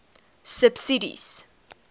subsidies